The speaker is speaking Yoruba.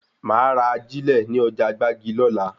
Máa ra ajílẹ̀ ní ọjà gbági lola